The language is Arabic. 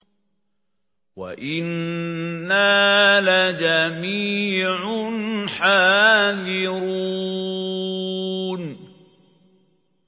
وَإِنَّا لَجَمِيعٌ حَاذِرُونَ